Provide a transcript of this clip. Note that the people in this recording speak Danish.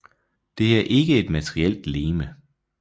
Det er ikke et materielt legeme